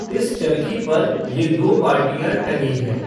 इस चरखी पर ये दो बाल्टियाँ टँगी हैं।